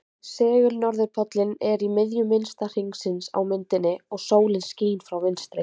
Segul-norðurpóllinn er í miðju minnsta hringsins á myndinni og sólin skín frá vinstri.